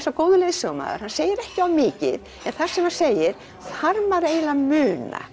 og góður leiðsögumaður hann segir ekki of mikið en það sem hann segir þarf maður eiginlega að muna